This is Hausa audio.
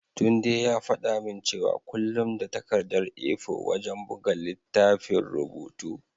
Tunde ya faɗa min cewa kullum da takardar A4 wajen buga littafin rubutu.